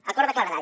acord de claredat